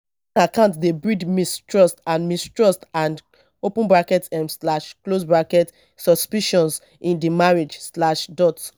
account dey breed mistrust and mistrust and open bracket um slash close bracket suspicion in di marriage slash dot